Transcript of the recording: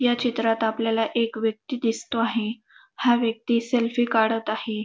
या चित्रात आपल्याला एक व्यक्ती दिसतो आहे हा व्यक्ती सेल्फी काढत आहे.